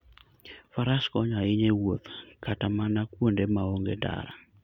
Faras konyo ahinya e wuoth kata mana kuonde ma onge ndara.